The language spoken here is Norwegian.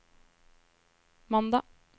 mandag